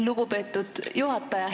Lugupeetud juhataja!